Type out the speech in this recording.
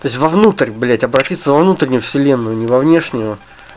то есть во внутрь блять обратиться во внутреннюю вселенную не во внешнюю